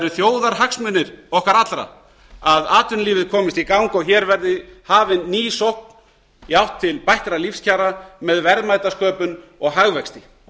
þjóðarhagsmunir okkar allra að atvinnulífið komist í gang og hér verði hafin ný sókn jafnt til bættra lífskjara með verðmætasköpun og hagvexti